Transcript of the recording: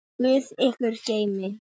Guð ykkur geymi.